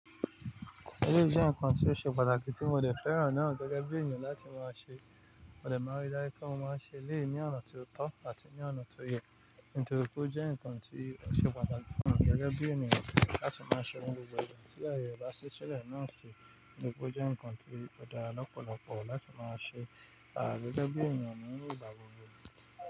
Èleyi jẹ́ ǹkan tí ó ṣe pàtàkì tí mo dẹ fẹ́ràn náà gẹ́gẹ́ bí èyàn láti máa ṣe. Mo dẹ máa rí dájú pe mo mọ n ṣe èléyi ní ọ̀nà ti ó tọ́ àti ní ọ̀nà tó yẹ, nítorí pé ó jẹ́ ǹkan tí ó ṣe pàtàkì fún mi gẹ́gẹ́ bí ènìyàn láti máa ṣe ni gbogbo igba tí ayẹ ẹ ba sí sílẹ̀ náà ṣe. Nítorí pé ó jẹ́ ǹkan tí ó dára lọ́pọ̀lọpọ̀ láti máa sẹ, à gẹ́gẹ́ bí ènìyàn níi ìgbà gbogbo.